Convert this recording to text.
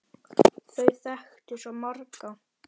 Þau þekktu svo marga.